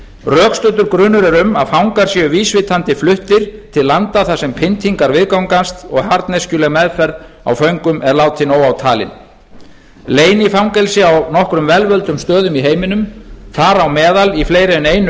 rökstuddur grunur er um að fangar séu vísvitandi fluttir til landa þar sem pyndingar viðgangast og harðneskjuleg meðferð á föngum er látin óátalin leynifangelsi á nokkrum vel völdum stöðum i heiminum þar á meðal í fleiri en einu